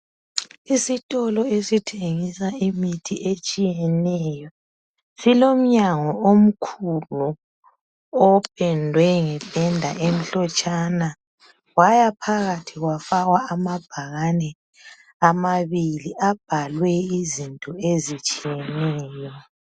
Isitolo esithengisa imithi etshiyeneyo silomnyango omkhulu opendwe ngependa emhlotshana kwaya phakathi kwafakwa amabhakane amabili abhalwe izinto ezitshiyeneyo.